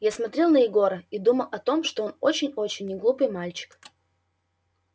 я смотрел на егора и думал о том что он очень очень неглупый мальчик